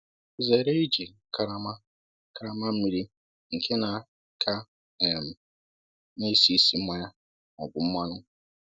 Zere iji karama karama mmiri nke na ka um na-esi ísì mmanya ma ọ bụ mmanụ.